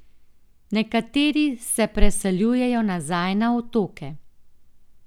Nekateri se preseljujejo nazaj na otoke.